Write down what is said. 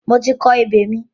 Mo ti kọ ebè mi.